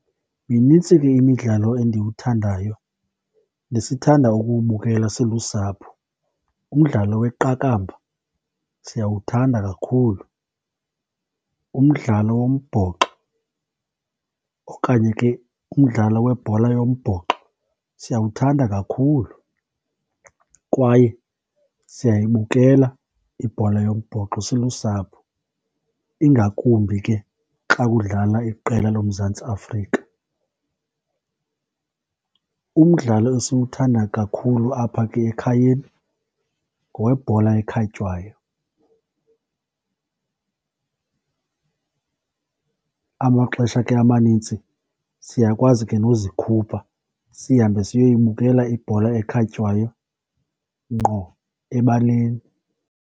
Minintsi ke imidlalo endiwuthandayo nesithanda ukuwubukela silusapho. Umdlalo weqakamba siyawuthanda kakhulu. Umdlalo wombhoxo okanye ke umdlalo webhola yombhoxo siyawuthanda kakhulu kwaye siyayibukela ibhola yombhoxo silusapho, ingakumbi ke xa kudlala iqela loMzantsi Afrika. Umdlalo esiwuthanda kakhulu apha ke ekhayeni ngowebhola ekhatywayo. Amaxesha ke amanintsi siyakwazi ke nozikhupha, sihambe siyoyibukela ibhola ekhatywayo ngqo ebaleni.